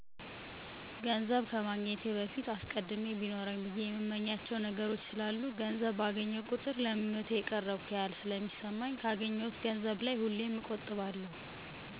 ገንዘብ ከማግኘቴ በፊት አስቀድሜ ቢኖረኝ ብየ የእምመኛቸዉ ነገሮች ስላሉ ገንዘብ ባገኘሁ ቁጥር ለ ምኞቴ የቀረብኩ ያክል ስለሚሰማኝ ካገኘሁት ገንዘብ ላይ ሁሌም እቆጥባለሁ።